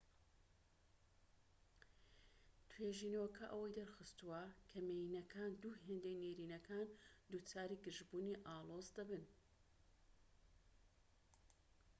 توێژینەوەکە ئەوەی دەرخستووە کە مێینەکان دوو هێندەی نێرینەکان دووچاری گرژبوونی ئاڵۆزدەبن